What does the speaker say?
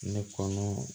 Ne kɔnɔ